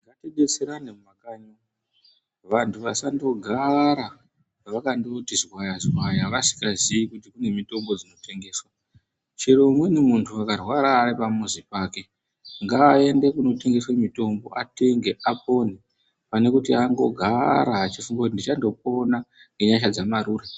Ngatidetserane mumakakanyi umu vandu vasangogara vakangoti zwaya zwaya vasingaziyi kuti kune mutombo dzinotengeswa chero umweni mundu akarwara ari pamuzi wake ngaende kunotengeswa mutombo atenge apore panekuti angogara efunga kuti ndichandopona ngenyasha dzamarure